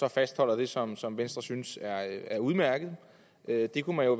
og fastholder dem som som venstre synes er udmærkede det kunne man jo